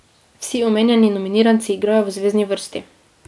Vsi omenjeni nominiranci igrajo v zvezni vrsti.